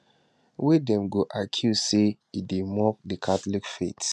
wey dem go accuse say e dey mock di catholic faith